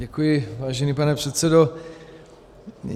Děkuji, vážený pane předsedo.